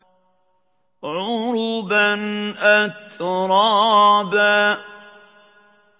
عُرُبًا أَتْرَابًا